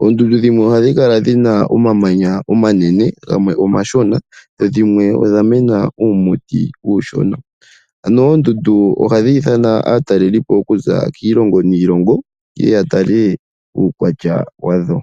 Oondundu dhimwe ohadhi kala dhina oomamanya omanene gamwe omashona dho dhimwe odha mena uumuti uushona. Ano oondundu ohadhi ithana aatalelipo oku za kiilongo niilongo yeye yatale uukwatya wadho.